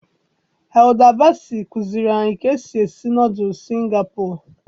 Hilda Baci kụziiri anyị ka esi esi nọdụlụ Singapọ.